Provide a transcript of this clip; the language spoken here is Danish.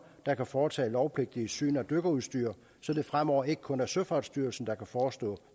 der kan foretage lovpligtige syn af dykkerudstyr så det fremover ikke kun er søfartsstyrelsen der kan forestå